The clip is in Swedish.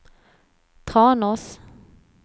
Tranås